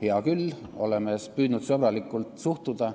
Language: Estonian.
Hea küll, me oleme püüdnud sõbralikult suhtuda.